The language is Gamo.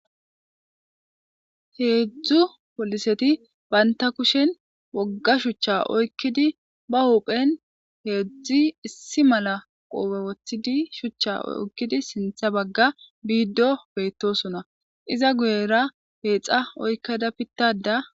heedzdzu poliseti baynta kushen wogga shuchcha oykkidi ba huphen heedzdzi issi mala qoope wothidi shuchcha okkidi sintha bagga biiddo beettosona iza guyera heexa oykka da pittada